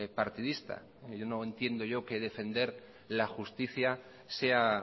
partidista no entiendo yo que defender la justicia sea